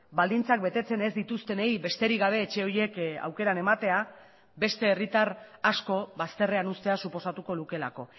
baldintzak betetzen ez dituztenei besterik gabe etxe horiek aukeran ematea beste herritar asko bazterrean uztea suposatuko lukeelako